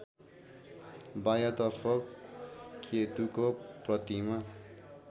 बायाँतर्फ केतुको प्रतिमा